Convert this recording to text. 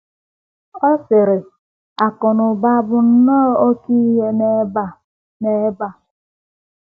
Ọ sịrị: “ Akụ̀ na ụba bụ nnọọ oké ihe n’ebe a n’ebe a. ”